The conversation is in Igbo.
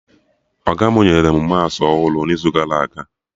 Ọga mụ nyere mụ maụsụ ọhụrụ n'izu gara aga